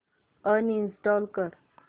uninstall कर